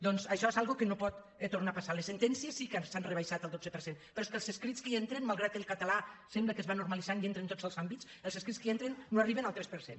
doncs això és una cosa que no pot tornar a pas·sar les sentències sí que s’han rebaixat el dotze per cent però és que els escrits que hi entren malgrat que el català sembla que es va normalitzant i entra en tots els àmbits els escrits que hi entren no arriben al tres per cent